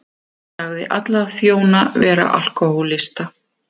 Sagði alla þjóna vera alkóhólista